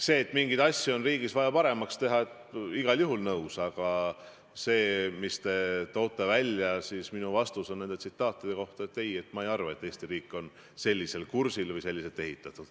Sellega, et mingeid asju on riigis vaja paremaks teha, olen igal juhul nõus, aga selle kohta, mis te välja tõite, on minu vastus, et ei, ma ei arva, et Eesti riik on sellisel kursil või selliselt üles ehitatud.